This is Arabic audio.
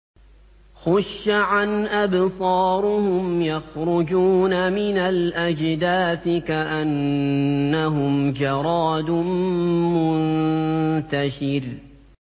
خُشَّعًا أَبْصَارُهُمْ يَخْرُجُونَ مِنَ الْأَجْدَاثِ كَأَنَّهُمْ جَرَادٌ مُّنتَشِرٌ